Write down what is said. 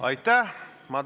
Aitäh!